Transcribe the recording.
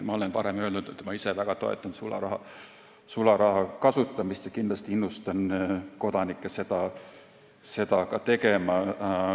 Ma olen varem öelnud, et ma ise väga toetan sularaha kasutamist ja kindlasti innustan ka kodanikke seda tegema.